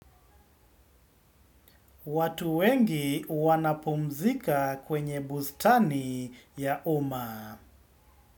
Watu wengi wanapumzika kwenye bustani ya umma.